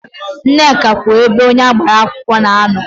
Nneka kwụ ebe onye agbara akwụkwọ na-anọ.